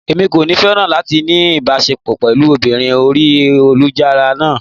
Mi ò ní féràn láti ní ìbáṣepọ̀ pẹ̀lú obìnrin orí ayélujára náà.